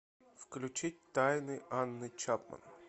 включить тайны анны чапман